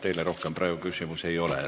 Teile rohkem küsimusi ei ole.